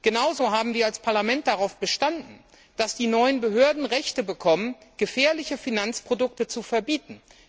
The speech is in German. Genauso haben wir als Parlament darauf bestanden, dass die neuen Behörden Rechte bekommen, gefährliche Finanzprodukte zu verbieten.